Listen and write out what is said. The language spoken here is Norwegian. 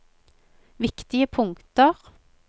viktige punkter